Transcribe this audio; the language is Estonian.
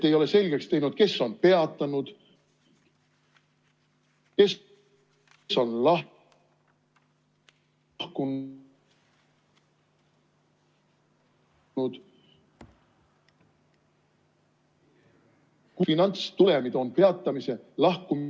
Te ei ole selgeks teinud, kes on peatanud, kes on lahkunud ...... finantstulemid on peatamise, lahkumise ...